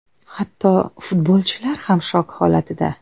Hatto futbolchilar ham shok holatida.